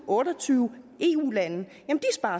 otte og tyve eu lande